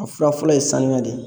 A fura fɔlɔ ye sanga de ye